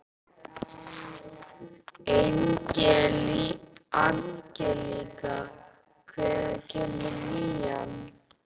Angelíka, hvenær kemur nían?